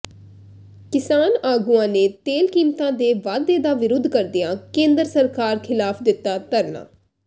ਕਿਸਾਨ ਆਗੂਆਂ ਨੇ ਤੇਲ ਕੀਮਤਾਂ ਦੇ ਵਾਧੇ ਦਾ ਵਿਰੁੱਧ ਕਰਦਿਆ ਕੇਂਦਰ ਸਰਕਾਰ ਖ਼ਿਲਾਫ਼ ਦਿੱਤਾ ਧਰਨਾ